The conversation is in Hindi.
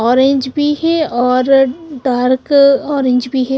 ऑरेंज भी है और डार्क ऑरेंज भी है।